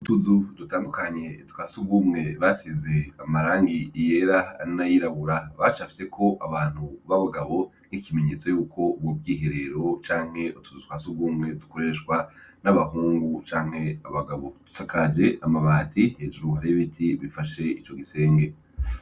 Utuzu dutandukanye twa sugumwe basize amarangi iyera anayirabura bacafyeko abantu b'abagabo n'ikimenyetso yuko ubwo bwiherero canke utuzu twa sugumwe dukoreshwa n'abahungu canke abagabo dusakaje amabati hejurwa rebiti bifashe ico gisenge.